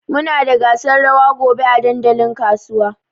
Muna da gasar rawa gobe a dandalin kasuwa.